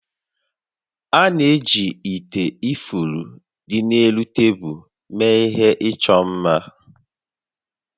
A na-eji ite ifuru dị n'elu tebulu mee ihe ịchọ mma